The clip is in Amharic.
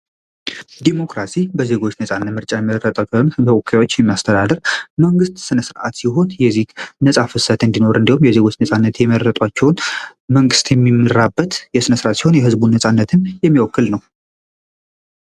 ዲሞክራሲ በዜጎች ነፃነት ምርጫ የመረጣቸውን በወካዮች የሚያስተዳደር መንግስት ሥነ ሥርዓት ሲሆን፤ የዚህ ነፃ ፍሰትን እንዲሆር እንዲሁም በነፃነት የመረጧቸውን መንግሥት የሚመራበት የስነስርአት ሲሆን የህዝቡን ነፃነትና የሚወክል ነው።